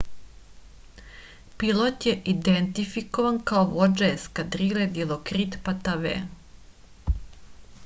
pilot je identifikovan kao vođa eskadrile dilokrit patave